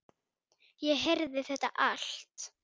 Ég heyrði þetta allt.